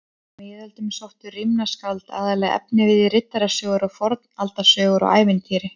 Á miðöldum sóttu rímnaskáld aðallega efnivið í riddarasögur, fornaldarsögur og ævintýri.